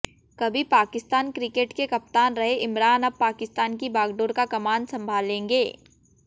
कभी पाकिस्तान क्रिकेट के कप्तान रहे इमरान अब पाकिस्तान की बागडोर का कमान संभालेंगे